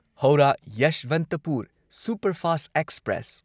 Howrah Yesvantpur superfast express